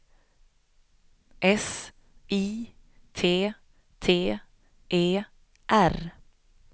S I T T E R